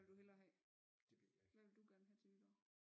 Hvad vil du hellere have hvad vil du gerne have til nytår